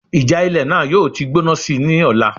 Ìjà ilẹ̀ náà yóò ti gbóná síi ní ọ̀la